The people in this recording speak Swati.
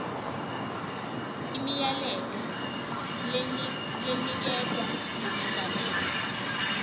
imiyalelo leniketwe ngumengameli